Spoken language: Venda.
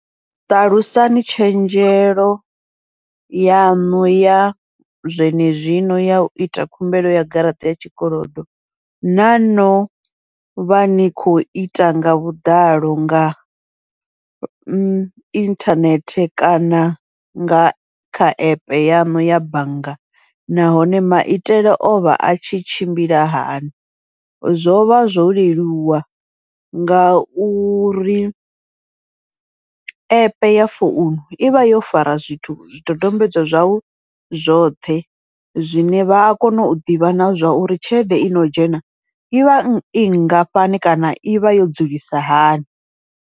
Ṱalusni tshenzhelo yaṋu ya zwenezwino ya uita khumbelo ya garaṱa ya tshikolodo, na novha ni khou ita nga vhuḓalo nga inthanethe kana nga kha app yaṋu ya bannga, nahone maitele ovha a tshi tshimbila hani. Zwovha zwo leluwa ngauri app ya founu ivha yo fara zwithu zwidodombedzwa zwau zwoṱhe, zwine vha a kona u ḓivha na zwauri tshelede ino dzhena ivha i ngafhani kana ivha yo dzulisa hani.